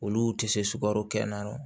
Olu tɛ se sukaro kɛ na